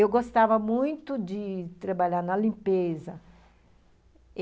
Eu gostava muito de trabalhar na limpeza.